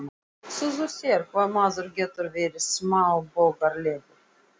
Hugsaðu þér hvað maður getur verið smáborgaralegur.